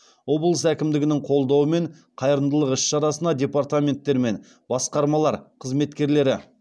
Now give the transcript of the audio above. облыс әкімдігінің қолдауымен қайырымдылық іс шарасына департаменттер мен басқармалар қызметкерлері